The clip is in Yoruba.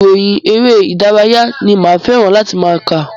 Ìròyìn eré ìdárayá ni máa fẹ́ràn láti máa kà.